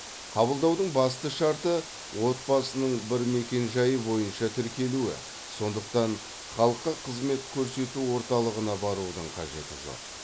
қабылдаудың басты шарты отбасының бір мекенжайы бойынша тіркелуі сондықтан халыққа қызмет көрсету орталығына барудың қажеті жоқ